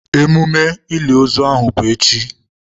Emume oliliozu ahụ bụ echi.